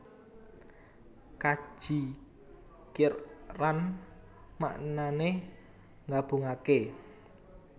Kaji Qiran maknané nggabungaké